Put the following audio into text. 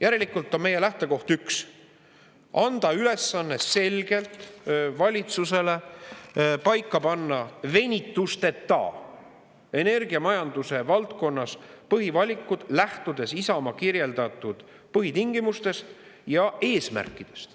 Järelikult on meie lähtekoht üks: anda ülesanne selgelt valitsusele paika panna venitusteta energiamajanduse valdkonnas põhivalikud, lähtudes Isamaa kirjeldatud põhitingimustest ja eesmärkidest.